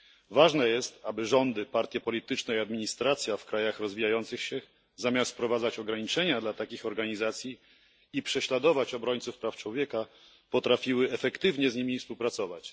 Ważne jest, aby rządy, partie polityczne i administracja w krajach rozwijających się, zamiast wprowadzać ograniczenia dla takich organizacji i prześladować obrońców praw człowieka, potrafiły efektywnie z nimi współpracować.